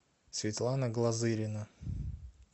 светлана глазырина